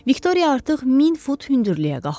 Viktoriya artıq 1000 fut hündürlüyə qalxmışdı.